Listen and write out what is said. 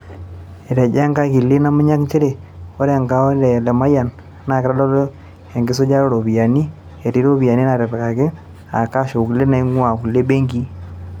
Etejo ekakili Namunyak nchere ore akaonds e Lemayian naa kitodolu ekisujata ooropiyiani, etii iropiyiani naatipikaki aa kash o kulie nain'guaa kulie benkii